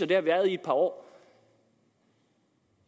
det har vi været i et par år